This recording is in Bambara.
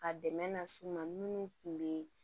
Ka dɛmɛ na s'u ma minnu tun bɛ